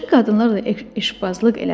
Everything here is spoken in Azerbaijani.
Başqa qadınlarla da eşqbazlıq elədim.